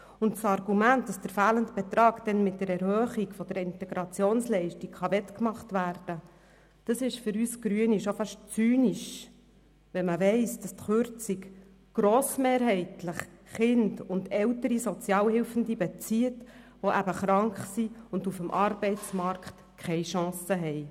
Das Argument, dass der fehlende Betrag mit der Erhöhung der Integrationsleistung wettgemacht werden kann, ist für uns Grüne schon fast zynisch, wenn man weiss, dass die Kürzung grossmehrheitlich Kinder und ältere Sozialhilfebezüger betrifft, die krank sind und auf dem Arbeitsmarkt keine Chance haben.